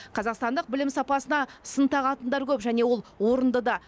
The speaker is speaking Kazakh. қазақстандық білім сапасына сын тағатындар көп және ол орынды да